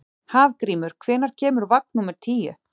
Hafgrímur, hvenær kemur vagn númer tíu?